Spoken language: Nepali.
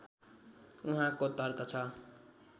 उहाँको तर्क छ